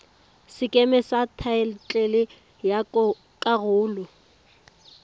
sekeme sa thaetlele ya karolo